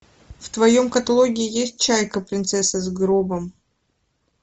в твоем каталоге есть чайка принцесса с гробом